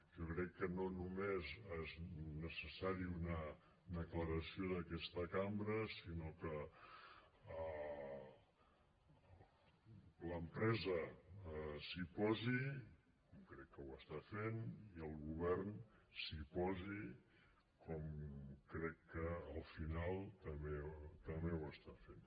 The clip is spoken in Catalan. jo crec que no només és necessària una declaració d’aquesta cambra sinó que l’empresa s’hi posi i crec que ho està fent i el govern s’hi posi com crec que al final també ho està fent